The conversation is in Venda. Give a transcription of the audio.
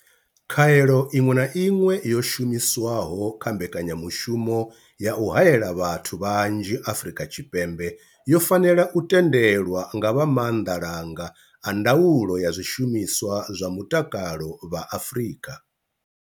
Khaelo iṅwe na iṅwe yo shumiswaho kha mbekanya mushumo ya u haela vhathu vhanzhi Afrika Tshipembe yo fanela u tendelwa nga vha Maanḓa langa a Ndaulo ya Zwishumiswa zwa Mutakalo vha Afrika.